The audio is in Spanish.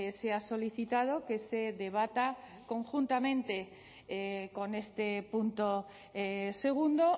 se ha solicitado que se debata conjuntamente con este punto segundo